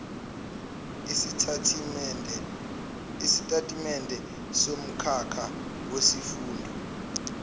isitatimende somkhakha wesifundo